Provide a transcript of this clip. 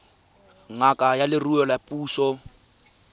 ngaka ya leruo ya puso